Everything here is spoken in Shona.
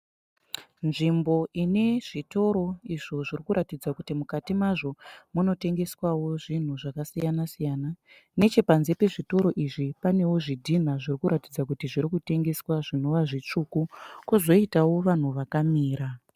Nzvimbo ine zvitoro izvo zviri kuratidza kuti mukati mazvo munotengeswawo zvinhu zvakasiyanasiyana. Nechepanze pezvitoro izvi panewo zvidhinha zviri kuratidza kuti zviri kutengeswa zvinova zvitsvuku, kwozoitawo vanhu vakamira.